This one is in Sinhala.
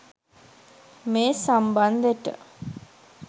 මේ සම්බන්දෙට.